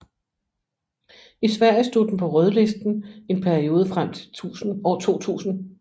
I Sverige stod den på rødlisten en periode frem til 2000